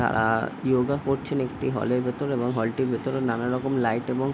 তারা ইয়োগা করছেন একটি হল এর ভেতর এবং হল টির ভেতরে নানারকম লাইট এবং --